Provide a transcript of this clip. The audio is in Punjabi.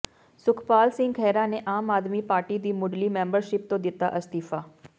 ਸੁਖਪਾਲ ਸਿੰਘ ਖਹਿਰਾ ਨੇ ਆਮ ਆਦਮੀ ਪਾਰਟੀ ਦੀ ਮੁੱਢਲੀ ਮੈਂਬਰਸ਼ਿੱਪ ਤੋਂ ਦਿੱਤਾ ਅਸਤੀਫਾ